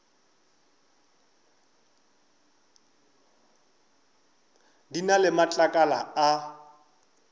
di na le matlakala a